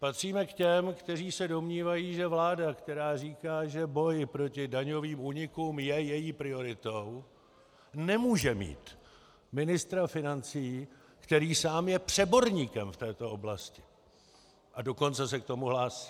Patříme k těm, kteří se domnívají, že vláda, která říká, že boj proti daňovým únikům je její prioritou, nemůže mít ministra financí, který sám je přeborníkem v této oblasti, a dokonce se k tomu hlásí.